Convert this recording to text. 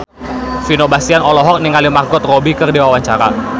Vino Bastian olohok ningali Margot Robbie keur diwawancara